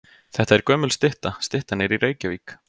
Þetta er gömul stytta. Styttan er í Reykjavík.